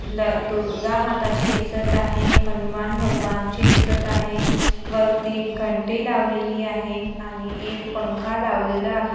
ल दुर्गा माताजी दिसत आहे हनुमान भगवान ची दिसत आहे वरती घंटी लावलेली आहे आणि एक पंखा लावलेला आहे.